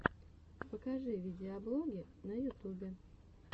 покажи видеоблоги на ютубе